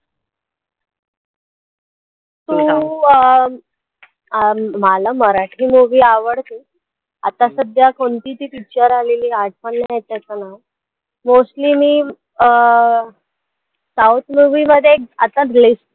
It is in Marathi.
तू अं मला मराठी movie आवडते, आता सध्या कोणती ती picture आलेली आठवण नाही येतं आहे मला mostly मी अं south movie मध्ये एक आता एक लेख